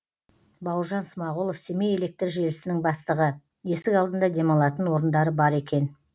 бауыржан смағұлов семей электр желісінің бастығы есік алдында демалатын орындары бар екен